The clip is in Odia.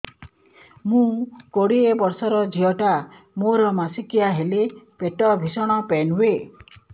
ମୁ କୋଡ଼ିଏ ବର୍ଷର ଝିଅ ଟା ମୋର ମାସିକିଆ ହେଲେ ପେଟ ଭୀଷଣ ପେନ ହୁଏ